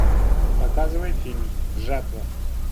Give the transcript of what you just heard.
показывай фильм жатва